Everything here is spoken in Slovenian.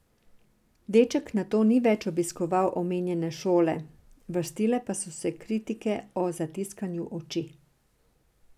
Deček nato ni več obiskoval omenjene šole, vrstile pa so se kritike o zatiskanju oči.